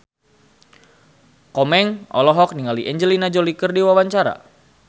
Komeng olohok ningali Angelina Jolie keur diwawancara